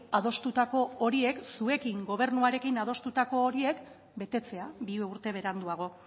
adostutako horiek zuekin gobernuarekin adostutako horiek betetzea bi urte beranduago